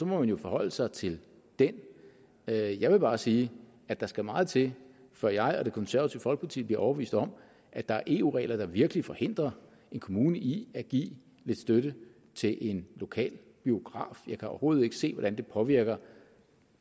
må man jo forholde sig til den jeg jeg vil bare sige at der skal meget til før jeg og det konservative folkeparti bliver overbevist om at der er eu regler der virkelig forhindrer en kommune i at give lidt støtte til en lokal biograf jeg kan overhovedet ikke se hvordan det påvirker